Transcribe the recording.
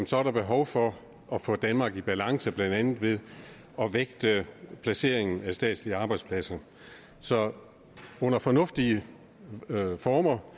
så er behov for at få danmark i balance blandt andet ved at vægte placeringen af statslige arbejdspladser så under fornuftige former